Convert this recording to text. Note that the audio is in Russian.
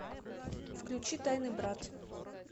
включи тайный брат